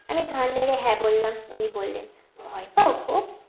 আমি ঘাড় নেড়ে হ্যা বললাম উনি বললেন ভয় পাও খুব